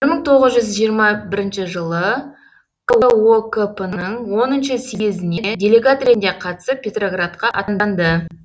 мың тоғыз жүз жиырма бірінші жылы кокп ның оныншы съезіне делегат ретінде қатысып петроградқа аттанды